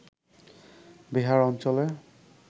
বেহার অঞ্চলে